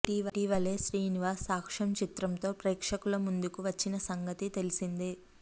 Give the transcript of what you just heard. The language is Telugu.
ఇటీవలే శ్రీనివాస్ సాక్ష్యం చిత్రం తో ప్రేక్షకుల ముందుకు వచ్చిన సంగతి తెలిసిందే